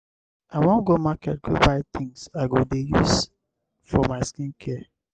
i wan go market go buy things i go dey use for my skin